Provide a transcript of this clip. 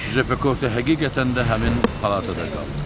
Cüzep Pekorte həqiqətən də həmin palatada qaldı.